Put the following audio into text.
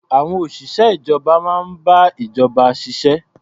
Àwon òṣìṣẹ́ ìjọba máa ń bá ìjọba ṣiṣẹ́.